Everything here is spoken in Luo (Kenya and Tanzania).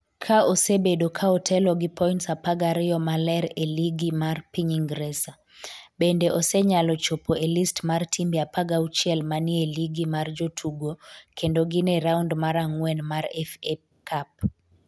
ka osebedo ka otelo gi point 12 maler e ligi mar piny Ingresa, bende osenyalo chopo e list mar timbe 16 ma ni e ligi mar jotugo kendo gin e raund mar ang’wen mar FA Cup.